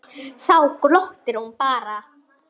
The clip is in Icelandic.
Þá glottir hún bara.